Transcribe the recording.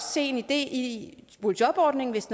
se en idé i boligjobordningen hvis